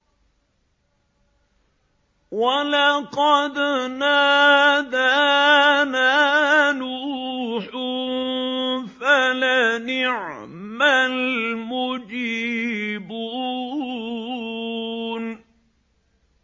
وَلَقَدْ نَادَانَا نُوحٌ فَلَنِعْمَ الْمُجِيبُونَ